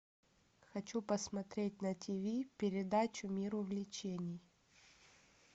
хочу посмотреть на тв передачу мир увлечений